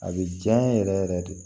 A bɛ janya yɛrɛ yɛrɛ de